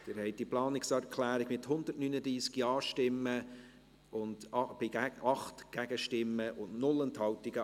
Sie haben die Planungserklärung 5 angenommen, mit 139 Ja- gegen 8 Nein-Stimmen bei 0 Enthaltungen.